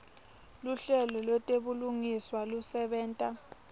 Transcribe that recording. luhlelo lwetebulungiswa lusebenta